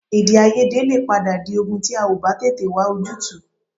Èdèàìyedè lè padà di ogun tí a ò bá tètè wá ojútùú